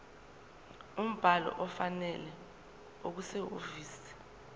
umbhalo ofanele okusehhovisi